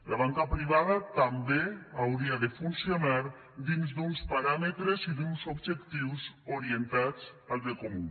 la banca privada també hauria de funcionar dins d’uns paràmetres i d’uns objectius orientats al bé comú